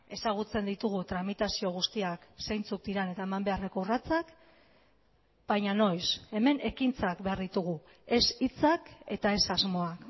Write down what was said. ezagutzen ditugu tramitazio guztiak zeintzuk diren eta eman beharreko urratsak baina noiz hemen ekintzak behar ditugu ez hitzak eta ez asmoa